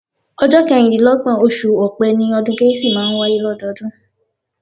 Ọjọ́ kẹrìndínlọ́gbọ̀n, oṣù ọ̀pẹ́ ni ọdún kérésì máa ń wáyé lọ́dọọdún